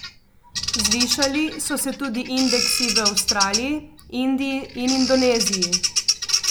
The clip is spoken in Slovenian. Zvišali so se tudi indeksi v Avstraliji, Indiji in Indoneziji.